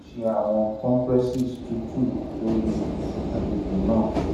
o tun le ṣe awọn compresses tutu lori agbegbe naa